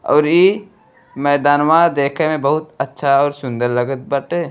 और इ मैदानवा देखे में बहुत अच्छा और सुन्दर लगत बाटे।